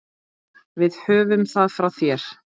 Við höfum það frá þér!